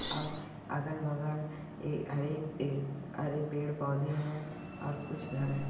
और अगल-बगल ए हरे-हरे पौधे हैं और कुछ घर है।